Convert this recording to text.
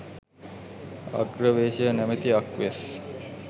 අග්‍රවේශය නමැති අක් වෙස්